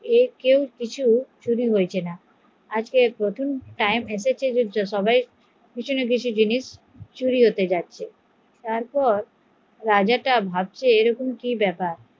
কিছু না কিছু চুরি হয়ে যাচ্ছে ভাবছে এরকম কি ব্যাপার